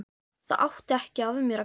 Það átti ekki af mér að ganga!